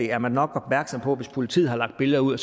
er nok opmærksom på hvis politiet har lagt billeder ud